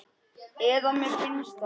Eða mér finnst það.